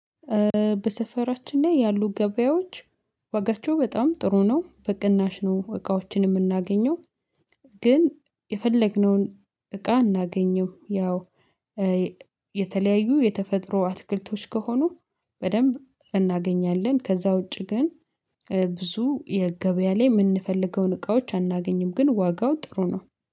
በሰፈራችን ላይ ያሉ ገበያዎች ዋጋቸው በጣም ጥሩ ነው በቅናሽ ነው እቃዎችን የምናገኘው። ግን የፈለግነውን እቃ አናገኘውም። ያው የተለያዩ የተፈጥሮ አትክልቶች ከሆኑ በደንብ እናገኛለን። ከዛ ውጪ ግን ብዙ የገበያ ላይ የምንፈልገውን እቃዎች አናገኝም። ግን ዋጋው ጥሩ ነው